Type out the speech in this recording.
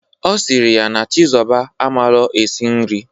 Ọ sịrị ya na Chizọba amalọ esi nri.